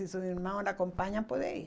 Se seus irmãos lhe acompanham, pode ir.